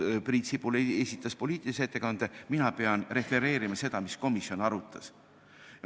Priit Sibul esitas poliitilise ettekande, mina pean refereerima seda, mida komisjon arutas.